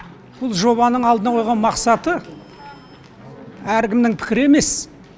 бұл жобаның алдына қойған мақсаты әркімнің пікірі емес